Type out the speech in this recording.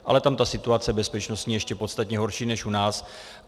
Ale tam ta situace bezpečnostní je ještě podstatně horší než u nás.